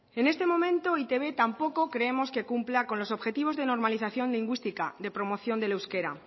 en este momento e i te be tampoco creemos que cumpla con los objetivos de normalización lingüística de promoción del euskera